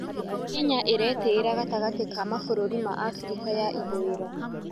Kenya ĩretĩĩra gatagatĩ ka mabũrũri ma Abirika ya ithũĩro.